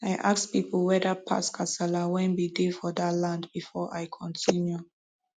i ask pipu whetherpast kasala wen bin dey for dat land before i continue